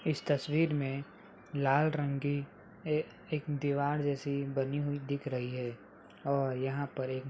इस तस्वीर में लाल रंग की एक दीवार जैसी बनी हुई दिख रही है और यहाँ पर एक --